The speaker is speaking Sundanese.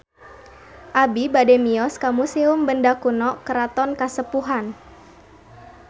Abi bade mios ka Museum Benda Kuno Keraton Kasepuhan